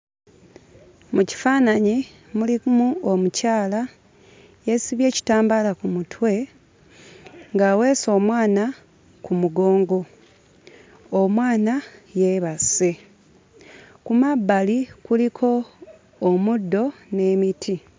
Mu kifaananyi mulimu omukyala, yeesibye ekitambaala ku mutwe ng'aweese omwana ku mugongo, omwana yeebase. Ku mabbali kuliko omuddo n'emiti.